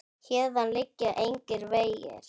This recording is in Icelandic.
Héðan liggja engir vegir.